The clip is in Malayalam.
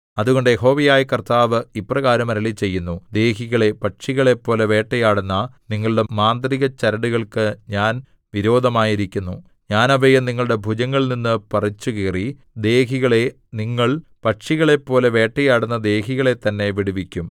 അതുകൊണ്ട് യഹോവയായ കർത്താവ് ഇപ്രകാരം അരുളിച്ചെയ്യുന്നു ദേഹികളെ പക്ഷികളെപ്പോലെ വേട്ടയാടുന്ന നിങ്ങളുടെ മാന്ത്രികചരടുകൾക്ക് ഞാൻ വിരോധമായിരിക്കുന്നു ഞാൻ അവയെ നിങ്ങളുടെ ഭുജങ്ങളിൽനിന്നു പറിച്ചുകീറി ദേഹികളെ നിങ്ങൾ പക്ഷികളെപ്പോലെ വേട്ടയാടുന്ന ദേഹികളെത്തന്നെ വിടുവിക്കും